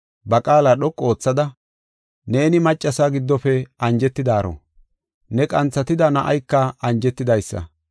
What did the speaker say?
ba qaala dhoqu oothada, “Neeni maccasa giddofe anjetidaaro, ne qanthatida na7ayka anjetidaysa.